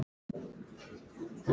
Það er stunið við stýrið.